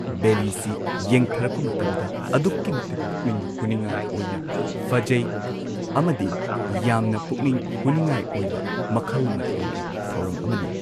ꯕꯦꯂꯤꯁꯤ ꯌꯦꯡꯊꯔꯛꯄ ꯃꯇꯝꯗ ꯑꯗꯨꯛꯀꯤ ꯃꯇꯤꯛ ꯄꯨꯛꯅꯤꯡ ꯍꯨꯅꯤꯡꯉꯥꯏ ꯑꯣꯏꯅ ꯐꯖꯩ ꯑꯃꯗꯤ ꯌꯥꯝꯅ ꯄꯨꯛꯅꯤꯡ ꯍꯨꯅꯤꯡꯉꯥꯏ ꯑꯣꯏꯕ ꯃꯈꯜ ꯃꯊꯦꯜꯒꯤ ꯊꯧꯔꯝ ꯑꯃꯅꯤ꯫